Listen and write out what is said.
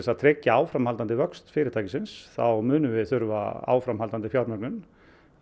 að tryggja áframhaldandi vöxt fyrirtækisins þá munum við þurfa áframhaldandi fjármögnun